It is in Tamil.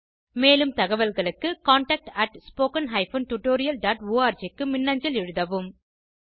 மேலும் தகவல்களுக்கு contactspoken tutorialorg க்கு மின்னஞ்சல் எழுதவும்